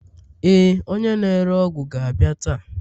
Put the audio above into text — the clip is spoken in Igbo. Ee, onye na-ere ọgwụ ga-abịa taa.